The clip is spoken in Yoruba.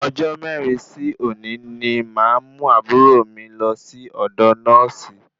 Ọjọ mẹrin sí òní ní máa mú àbúrò mí lọ sí ọdọ nọ́ọ̀sì